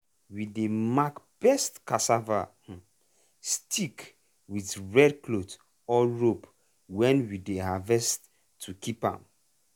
we dey mark best cassava um stick with red cloth or rope when we dey harvest to keep am.